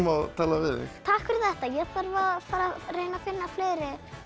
tala við þig takk fyrir þetta ég þarf að fara reyna að finna fleiri